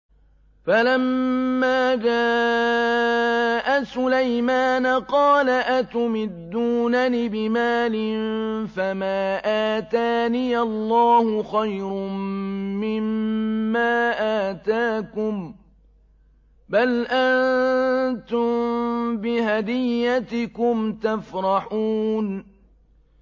فَلَمَّا جَاءَ سُلَيْمَانَ قَالَ أَتُمِدُّونَنِ بِمَالٍ فَمَا آتَانِيَ اللَّهُ خَيْرٌ مِّمَّا آتَاكُم بَلْ أَنتُم بِهَدِيَّتِكُمْ تَفْرَحُونَ